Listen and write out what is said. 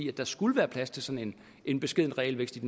i at der skulle være plads til sådan en beskeden realvækst i